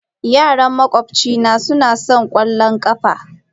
Yaran makwabcina suna wasan ƙwallon ƙafa.